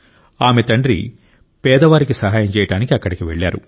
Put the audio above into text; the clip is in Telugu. ఆమె తండ్రి పేదవారికి సహాయం చేయడానికి అక్కడికి వెళ్ళారు